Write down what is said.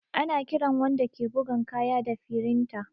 Ana kiran wanda ke bugan kaya da firinta